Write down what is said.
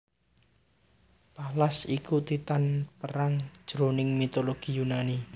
Pallas iku Titan perang jroning mitologi Yunani